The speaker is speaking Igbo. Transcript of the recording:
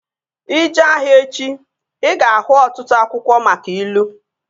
Ị jee ahịa echi, ị ga-ahụ ọtụtụ akwụkwọ maka ilu